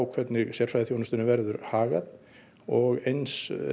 hvernig sérfræðiþjónustunni verður hagað og eins